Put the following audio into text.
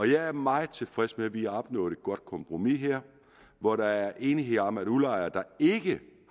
jeg er meget tilfreds med at vi har opnået et godt kompromis her hvor der er enighed om at udlejere der ikke